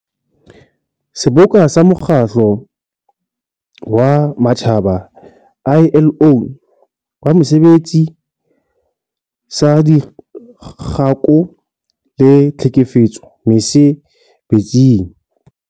Seboka sa Mokgatlo wa Matjhaba, ILO, wa Mosebetsi saDikgako le Tlhekefetso Mese-betsing.